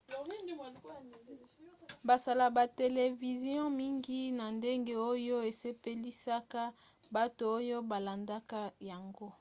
basala ba televizio mingi na ndenge oyo esepelisaka bato oyo balandaka yango